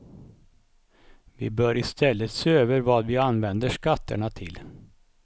Vi bör i stället se över vad vi använder skatterna till.